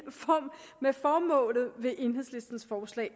med formålet i enhedslistens forslag